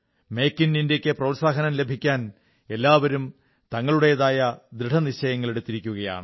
make in ഇന്ത്യയ്ക്ക് പ്രോത്സാഹനം ലഭിക്കാൻ എല്ലാവരും തങ്ങളുടേതായ ദൃഢനിശ്ചയങ്ങളെടുക്കുകയാണ്